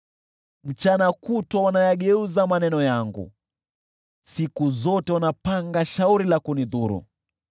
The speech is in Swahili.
Mchana kutwa wanayageuza maneno yangu, siku zote wanapanga shauri la kunidhuru.